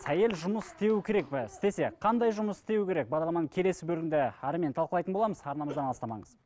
әйел жұмыс істеуі керек пе істесе қандай жұмыс істеуі керек бағдарламаның келесі бөлімінде әрімен талқылайтын боламыз арнамыздан алыстамаңыз